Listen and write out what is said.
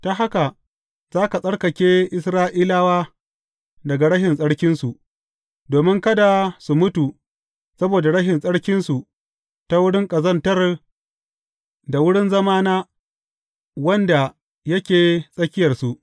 Ta haka za ka tsarkake Isra’ilawa daga rashin tsarkinsu, domin kada su mutu saboda rashin tsarkinsu ta wurin ƙazantar da wurin zamana wanda yake tsakiyarsu.’